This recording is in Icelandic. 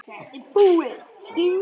Þetta er búið.